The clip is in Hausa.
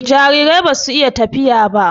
Jarirai ba su iya tafiya.